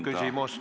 Palun küsimus!